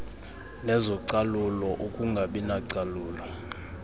nezocalulo ukungabi nacalulo